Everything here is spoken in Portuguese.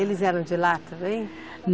Eles eram de lá também?